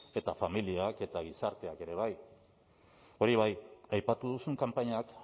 eta familiak eta gizarteak ere bai hori bai aipatu duzun kanpainak